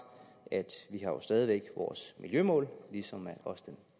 at vi jo stadig væk vores miljømål ligesom også den